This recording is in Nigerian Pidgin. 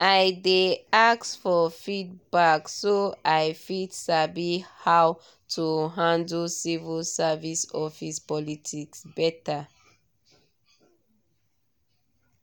i dey ask for feedback so i fit sabi how to handle civil service office politics better.